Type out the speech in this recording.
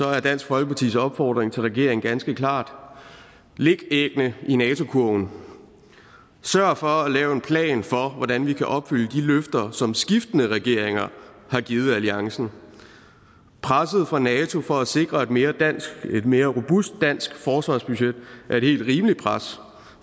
er dansk folkepartis opfordring til regeringen ganske klar læg æggene i nato kurven sørg for at lave en plan for hvordan vi kan opfylde de løfter som skiftende regeringer har givet alliancen presset fra nato for at sikre et mere et mere robust dansk forsvarsbudget er et helt rimeligt pres